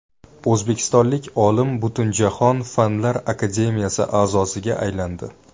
O‘zbekistonlik olim Butunjahon Fanlar akademiyasi a’zosiga aylandi.